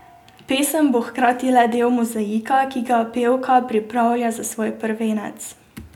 Pesem bo hkrati le del mozaika, ki ga pevka pripravlja za svoj prvenec.